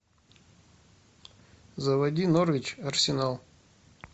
заводи норвич арсенал